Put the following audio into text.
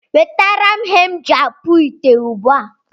Wetaram ihe m ji akpu ite ugbu a!